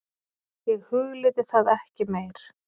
Ég hugleiddi það ekki meir.